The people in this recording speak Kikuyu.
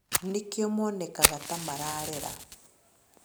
Nĩkĩo monekaga ta mararera